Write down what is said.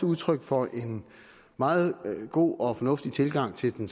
udtryk for en meget god og fornuftig tilgang til den